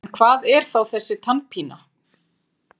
En hvað er þá þessi tannpína?